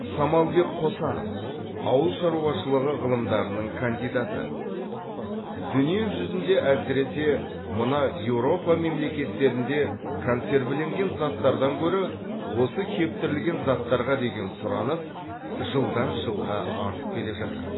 самалбек қосанов ауыл шаруашылығы ғылымдарының кандидаты дүние жүзінде әсіресе мына еуропа мемлекеттерінде консервіленген заттардан гөрі осы кептірілген заттарға деген сұраныс жылдан жылға артып келе жатыр